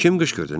Kim qışqırdı?